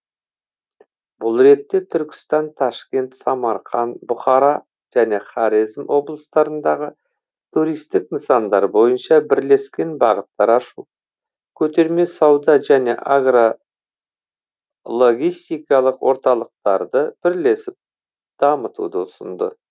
бұл ретте түркістан ташкент самарқан бұхара және хорезм облыстарындағы туристік нысандар бойынша бірлескен бағыттар ашу көтерме сауда және агро логистикалық орталықтарды бірлесіп дамытуды ұсынды